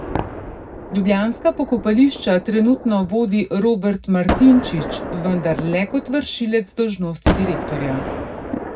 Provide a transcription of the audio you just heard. Ljubljanska pokopališča trenutno vodi Robert Martinčič, vendar le kot vršilec dolžnosti direktorja.